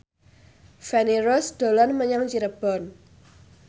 Feni Rose dolan menyang Cirebon